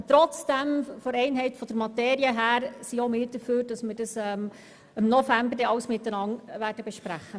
Aber im Hinblick auf die Einheit der Materie ziehen wir es vor, im November alles gemeinsam zu besprechen.